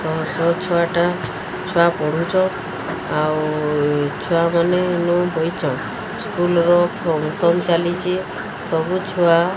ଛୁଆ ଟା ଛୁଆ ପଢ଼ୁଚ ଆଉ ଛୁଆ ମାନେ ଇନୁ ବଇଚନ୍ ସ୍କୁଲ୍ ର ଫଙ୍କସନ୍ ଚାଲିଚି ସବୁ ଛୁଆ --